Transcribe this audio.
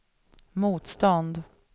motstånd